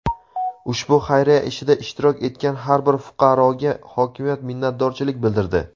Ushbu xayriya ishida ishtirok etgan har bir fuqaroga hokimiyat minnatdorchilik bildirdi.